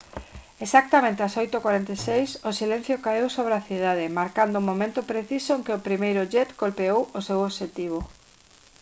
exactamente ás 8:46 h o silencio caeu sobre a cidade marcando o momento preciso en que o primeiro jet golpeou o seu obxectivo